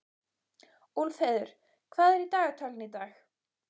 Úlfheiður, hvað er í dagatalinu í dag?